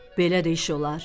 Belə də iş olar?